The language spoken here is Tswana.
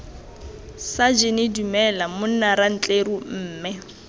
sajene dumela monna rantleru mme